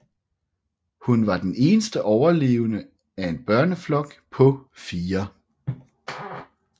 Hun var den eneste overlevende af en børneflok på fire